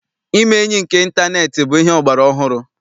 Ime enyi nke ịntaneetị bụ ihe ọgbara ọhụrụ.